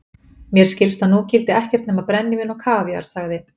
Mér skilst að nú gildi ekkert nema brennivín og kraftar, sagði